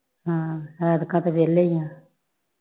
ਹੈ ਐਤਕਾ ਤੇ ਵਿਹਲੇ ਹੀ ਆ